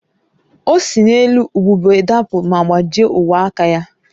O si n’elu ubube dapụ ma gbajie ogwe aka ya